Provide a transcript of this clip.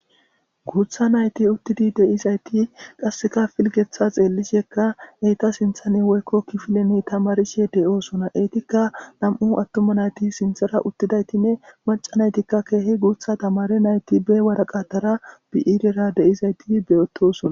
guutha nayti uttidi deizayti qasseka filgeththa xeellishekka eyta sinthane woykko kifileni tamarishe de7oosona eytikka nam7u attuma nayti sinthara uttidaytinne maca naytikka keehi guutha tamare nayti be waraqatara bi7iirera deyizayti beyotosona